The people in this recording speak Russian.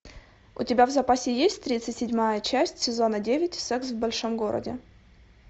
у тебя в запасе есть тридцать седьмая часть сезона девять секс в большом городе